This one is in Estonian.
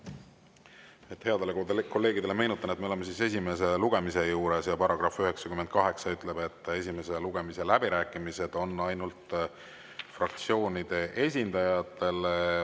Headele kolleegidele meenutan, et me oleme esimese lugemise juures ja § 98 ütleb, et esimese lugemise läbirääkimised on mõeldud ainult fraktsioonide esindajatele.